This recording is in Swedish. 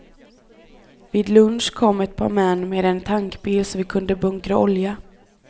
Vid lunch kom ett par män med en tankbil så vi kunde bunkra olja.